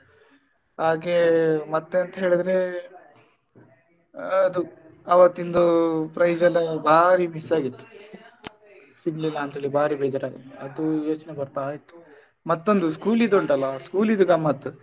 ಹಾಗೆ ಮತ್ತೆಂತ ಹೇಳಿದ್ರೆ ಅದು ಅವತ್ತಿಂದು prize ಎಲ್ಲ ಬಾರಿ miss ಆಗಿತ್ತು ಸಿಗ್ಲಿಲ್ಲ ಅಂತೇಳಿ ಬಾರಿ ಬೇಜಾರ್ ಆಗಿತ್ತು ಅದು ಯೋಚನೆ ಬರ್ತಾ ಇತ್ತು. ಮತ್ತೊಂದು school ದ್ದು ಉಂಟಲ್ಲಾ school ದ್ದು ಗಮ್ಮತ್.